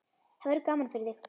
Það verður gaman fyrir þig.